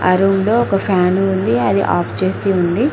ఆ రూంలో ఒక ఫ్యాన్ ఉంది అది ఆఫ్ చేసి ఉంది.